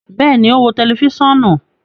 Bẹẹni, o n wo tẹlifisiọnu